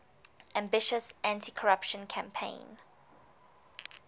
ambitious anticorruption campaign